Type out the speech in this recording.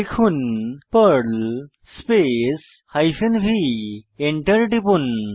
লিখুন Perl space hyphen v Enter টিপুন